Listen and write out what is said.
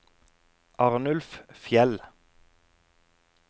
Arnulf Fjeld